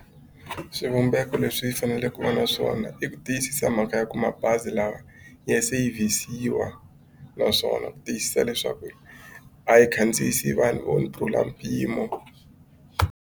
Swivumbeko leswi yi faneleke ku va na swona i ku tiyisisa mhaka ya ku mabazi lawa ya sevhisiwa naswona ku tiyisisa leswaku a yi khandziyisa vanhu vo ndlula mpimo.